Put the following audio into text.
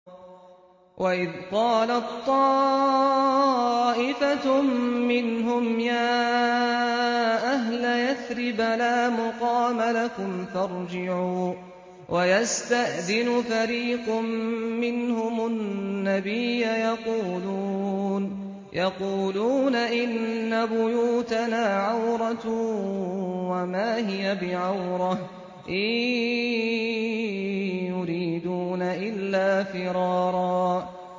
وَإِذْ قَالَت طَّائِفَةٌ مِّنْهُمْ يَا أَهْلَ يَثْرِبَ لَا مُقَامَ لَكُمْ فَارْجِعُوا ۚ وَيَسْتَأْذِنُ فَرِيقٌ مِّنْهُمُ النَّبِيَّ يَقُولُونَ إِنَّ بُيُوتَنَا عَوْرَةٌ وَمَا هِيَ بِعَوْرَةٍ ۖ إِن يُرِيدُونَ إِلَّا فِرَارًا